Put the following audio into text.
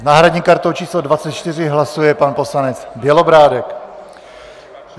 S náhradní kartou číslo 24 hlasuje pan poslanec Bělobrádek.